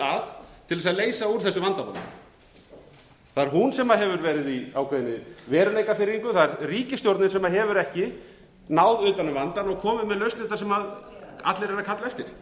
að til þess að leysa úr þessu vandamáli það er hún sem hefur verið í ákveðinni veruleikafirringu það er ríkisstjórnin sem hefur ekki náð utan um vandann og komið með lausnirnar sem allir eru að kalla eftir